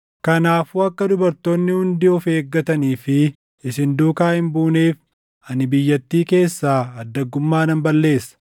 “Kanaafuu akka dubartoonni hundi of eeggatanii fi isin duukaa hin buuneef ani biyyattii keessaa addaggummaa nan balleessa.